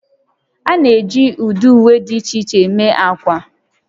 A na-eji ụdị uwe dị iche iche eme ákwà